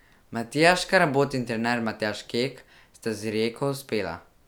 Matija Škarabot in trener Matjaž Kek sta z Rijeko uspela.